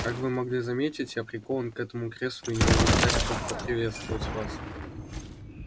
как вы могли заметить я прикован к этому креслу и не могу встать чтобы поприветствовать вас